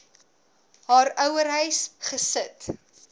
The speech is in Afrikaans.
haar ouerhuis gesit